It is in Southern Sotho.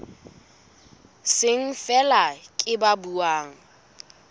seng feela ke ba buang